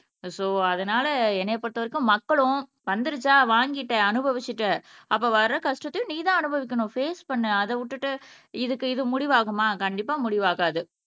so அதனால என்னைய பொறுத்தவரைக்கும் மக்களும் வந்திடுச்சா வாங்கிட்ட அனுபவிச்சிட்ட அப்ப வர கஷ்டத்தையும் நீதான் அனுபவிக்கணும் பேஸ் பண்ணு அதை விட்டுட்டு இதுக்கு இது முடிவாகுமா கண்டிப்பா முடிவாகாது